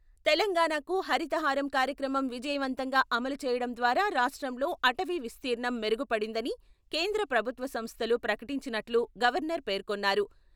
తెలంగాణకు హరిత హారం కార్యక్రమం విజయవంతంగా అమలు చేయడం ద్వారా రాష్ట్రంలో అటవీ విస్తీర్ణం మెరుగుపడిందని కేంద్ర ప్రభుత్వ సంస్థలు ప్రకటించినట్లు గవర్నర్ పేర్కొన్నారు.